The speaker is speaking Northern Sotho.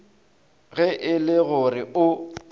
ge e le gore o